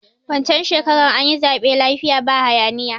Wancan shekarar anyi zaɓe lafiya ba haya niya